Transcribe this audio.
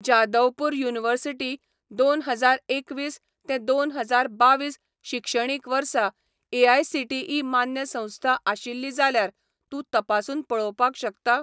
Jadavpur university दोन हजार एकवीस ते दोन हजार बावीस शिक्षणीक वर्सा एआयसीटीई मान्य संस्था आशिल्ली जाल्यार तूं तपासून पळोवपाक शकता?